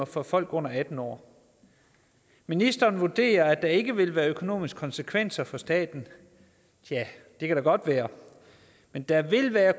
for folk under atten år ministeren vurderer at der ikke vil være økonomiske konsekvenser for staten ja det kan da godt være men der vil være